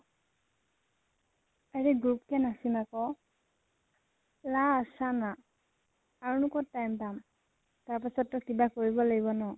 আৰে group কে নাচিম আকৌ। last চানা। আৰুনো কত time পাম? তাৰ পাছত টো কিবা কৰিব লাগিব ন?